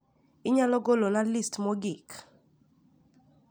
inyalo golo na list mogik